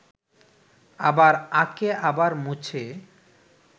আবার আঁকে আবার মোছে